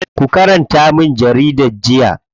Ku karanta min jaridar jiya.